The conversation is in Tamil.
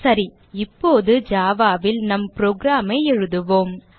சரி இப்போது java ல் நம் program ஐ எழுதுவோம்